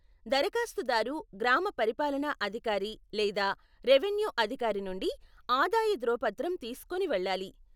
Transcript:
దరఖాస్తుదారు గ్రామ పరిపాలనా అధికారి లేదా రెవెన్యూ అధికారి నుండి ఆదాయ ధృవపత్రం తీస్కోని వెళ్ళాలి.